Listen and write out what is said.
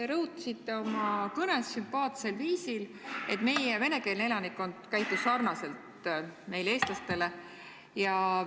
Te rõhutasite oma kõnes sümpaatsel viisil, et meie venekeelne elanikkond käitus sarnaselt meie, eestlastega.